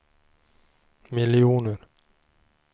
miljoner